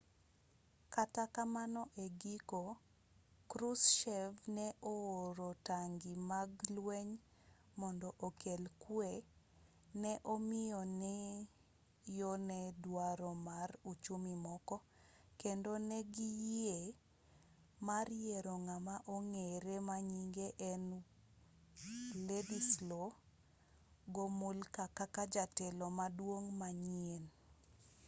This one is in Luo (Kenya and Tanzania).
kata kamano e giko krushchev ne o-oro tangi mag lweny mond okel kwe ne omiyo yo ne dwaro mar uchumi moko kendo negiyie mar yiero ng'ama ong'ere manyinge en wladyslaw gomulka kaka jatelo maduong' manyien